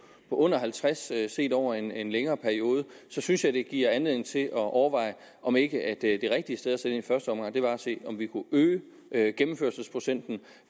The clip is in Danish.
under halvtreds set over en en længere periode synes jeg det giver anledning til at overveje om ikke det rigtige sted at sætte ind i første omgang var at se om vi kunne øge øge gennemførelsesprocenten